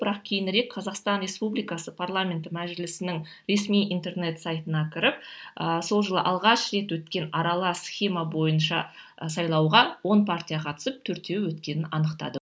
бірақ кейінірек қазақстан республикасы парламенті мәжілісінің ресми интернет сайтына кіріп ыыы сол жылы алғаш рет өткен аралас схема бойынша і сайлауға он партия қатысып төртеуі өткенін анықтадық